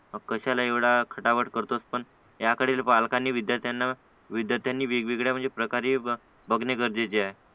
कशाला एवढा खटापट करतोस पण याकडे पालकांनी विद्यार्थ्यांना विद्यार्थ्यांनी वेगवेगळ्या म्हणजे प्रकारे बघणे गरजेचे आहे